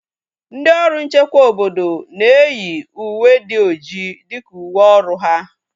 Ndị ọrụ nchekwa obodo na-eyi uwe dị ọjị dịka uwe ọrụ ha